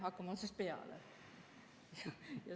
Hakkame otsast peale.